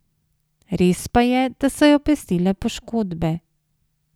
Res pa je, da so jo pestile poškodbe.